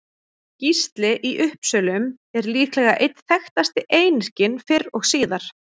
Gísli í Uppsölum er líklega einn þekktasti einyrkinn fyrr og síðar.